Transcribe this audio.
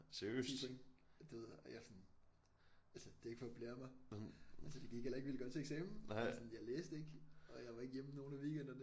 10 point du ved og jeg sådan altså det er ikke for at blære mig altså det gik heller ikke vildt godt til eksamen altså sådan jeg læste ikke og jeg var ikke hjemme nogen af weekenderne